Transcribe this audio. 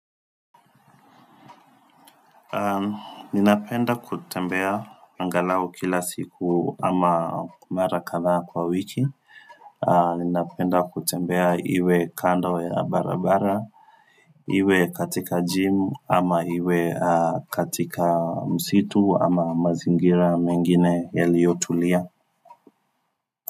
Ninapenda kutembea angalau kila siku ama mara kadhaa kwa wiki Ninapenda kutembea iwe kando ya barabara iwe katika gym ama iwe katika msitu ama mazingira mengine yaliyotulia.